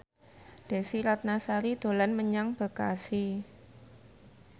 Desy Ratnasari dolan menyang Bekasi